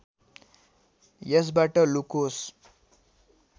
यसबाट लुकोस्